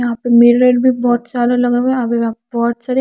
यहा पे मेलरेट भी बोहोत सारे लगे हुए है यहा बोहोत सारे --